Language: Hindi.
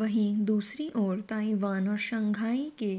वहीं दूसरी ओर ताईवान और शांघाई के